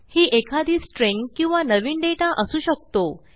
ही एखादी स्ट्रिंग किंवा नवीन दाता असू शकतो